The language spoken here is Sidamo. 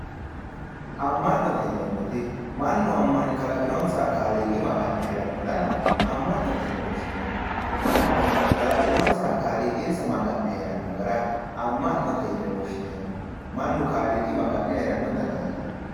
Ama'note yineemmoti mannu kalaqinonsaha Magano maga'ne heerano gara ama'note yine woshshineemmo mannu kalaqinonsaha kaaliiqi amane heerano gara ama'note yineemmo mannu kaaliiqi